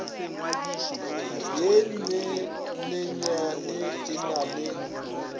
ye nnyanenyane e na le